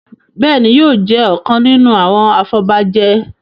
Béèni yóò jé ọkàn nínú àwọn afobaje.